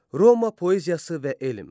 Roma poeziyası və elm.